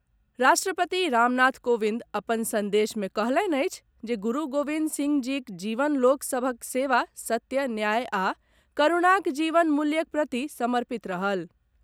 राष्ट्रपति रामनाथ कोविंद अपन संदेश मे कहलनि अछि जे गुरू गोविंद सिंह जीक जीवन लोक सभक सेवा सत्य, न्याय आ करूणाक जीवन मूल्यक प्रति समर्पित रहल।